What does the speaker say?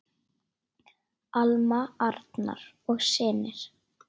Alma, Arnar og synir.